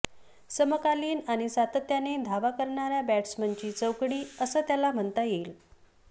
समकालीन आणि सातत्याने धावा करणाऱ्या बॅट्समनची चौकडी असं त्याला म्हणता येईल